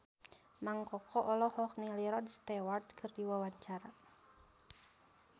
Mang Koko olohok ningali Rod Stewart keur diwawancara